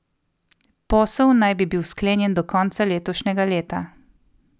Posel naj bi bil sklenjen do konca letošnjega leta.